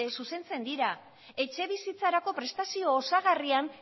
zuzentzen dira etxebizitzarako prestazio osagarrian